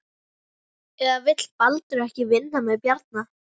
Eða vill Baldur ekki vinna með Bjarna?